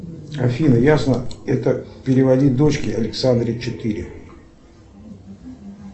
афина ясно это переводить дочке александре четыре